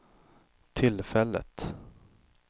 tillfället